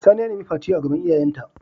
Sani ya nemi Fati a gaban iyayen ta.